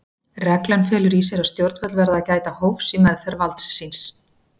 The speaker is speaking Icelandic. Reglan felur í sér að stjórnvöld verða að gæta hófs í meðferð valds síns.